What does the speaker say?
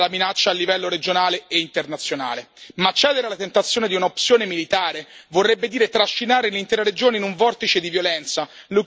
Ma cedere alla tentazione di un'opzione militare, vorrebbe dire trascinare l'intera regione in un vortice di violenza, le cui conseguenze sarebbero a dir poco tragiche.